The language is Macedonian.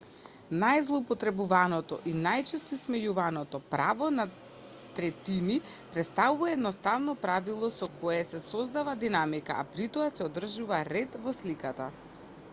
најзлоупотребуваното и најчесто исмејуваното право на третини претставува едноставно правило со кое се создава динамика а притоа се одржува ред во сликата